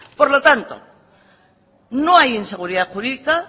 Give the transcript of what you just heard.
por lo tanto no hay inseguridad jurídica